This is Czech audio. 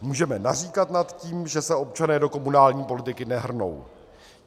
Můžeme naříkat nad tím, že se občané do komunální politiky nehrnou.